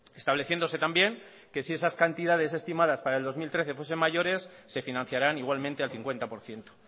estableciéndose también que si esas cantidades estimadas para el dos mil trece fuesen mayores se financiarán igualmente al cincuenta por ciento